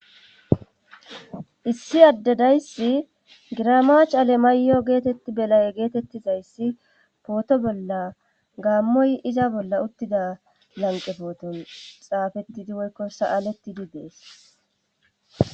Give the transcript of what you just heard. issi addedayssi giramach ale maayo geetetti belay geetettizayssi pooto bolla gaammoy iza bolla uttida lanqe pooton xaafettidi woykkosaalettidi dees